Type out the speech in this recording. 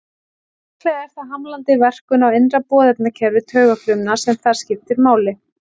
Líklega er það hamlandi verkun á innra boðefnakerfi taugafrumna sem þar skiptir máli.